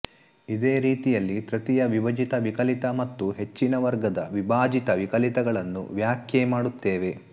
ಇದೇ ರೀತಿಯಲ್ಲಿ ತೃತೀಯ ವಿಭಜಿತ ವಿಕಲಿತ ಮತ್ತು ಹೆಚ್ಚಿನ ವರ್ಗದ ವಿಭಾಜಿತ ವಿಕಲಿತಗಳನ್ನು ವ್ಯಾಖ್ಯೆ ಮಾಡುತ್ತೇವೆ